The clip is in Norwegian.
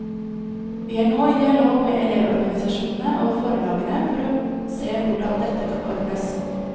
Vi er nå i dialog med elevorganisasjonene og forlagene, for å se hvordan dette kan ordnes.